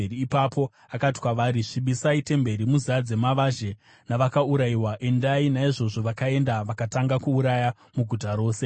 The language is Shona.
Ipapo akati kwavari, “Svibisai temberi muzadze mavazhe navakaurayiwa. Endai!” Naizvozvo vakaenda vakatanga kuuraya muguta rose.